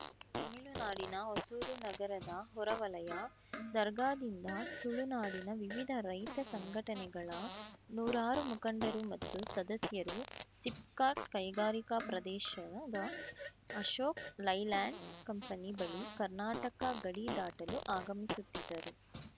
ತಮಿಳುನಾಡಿನ ಹೊಸೂರು ನಗರದ ಹೊರವಲಯ ದರ್ಗಾದಿಂದ ತುಳುನಾಡಿನ ವಿವಿಧ ರೈತ ಸಂಘಟನೆಗಳ ನೂರಾರು ಮುಖಂಡರು ಮತ್ತು ಸದಸ್ಯರು ಸಿಪ್‌ಕಾಟ್‌ ಕೈಗಾರಿಕಾ ಪ್ರದೇಶದ ಅಶೋಕ್‌ ಲೈಲ್ಯಾಂಡ್‌ ಕಂಪನಿ ಬಳಿ ಕರ್ನಾಟಕ ಗಡಿ ದಾಟಲು ಆಗಮಿಸುತ್ತಿದ್ದರು